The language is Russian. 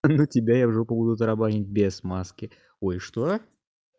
но тебя я в жопу буду тарабанить без маски ой что